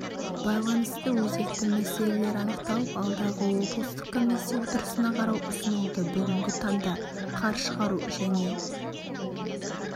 байланысты өзекті мәселелер анықталып алдағы облыстық комиссия отырысына қарау ұсынылды бүгінгі таңда қар шығару және